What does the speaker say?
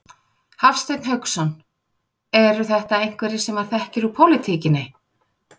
Hafsteinn Hauksson: Eru þetta einhverjir sem maður þekkir úr pólitíkinni?